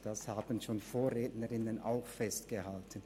Dies haben schon Vorrednerinnen und Vorredner festgehalten.